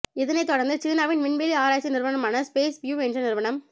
இதனைத் தொடர்ந்து சீனாவின் விண்வெளி ஆராய்ச்சி நிறுவனமான ஸ்பேஸ் வியூ என்ற நிறுவனம்